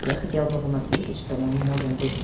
я хотел бы вам ответить что мы можем быть